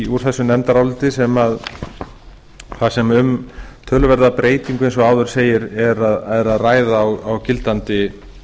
úr þessu nefndaráliti þar sem um töluverða breytingu eins og áður segir er að ræða á gildandi